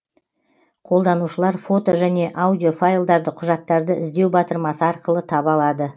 қолданушылар фото және аудиофайлдарды құжаттарды іздеу батырмасы арқылы таба алады